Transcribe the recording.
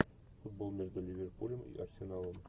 футбол между ливерпулем и арсеналом